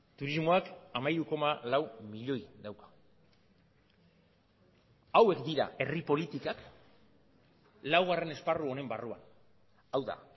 turismoak hamairu koma lau milioi dauka hauek dira herri politikak laugarren esparru honen barruan hau da